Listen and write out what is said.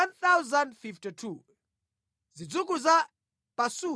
Zidzukulu za Harimu 1,017.